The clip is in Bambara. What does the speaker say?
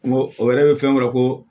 N go o yɛrɛ be fɛn dɔ la ko